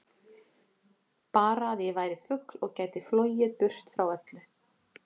Bara að ég væri fugl og gæti flogið burt frá öllu.